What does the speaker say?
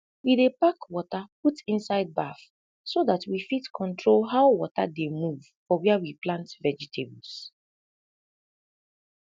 we dey pack wata put inside baff so dat we fit control how wata dey move for wia we plant vegetables